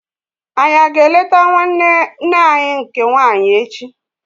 Anyi a ga eleta nwanne nne anyị nke nwaanyị echi?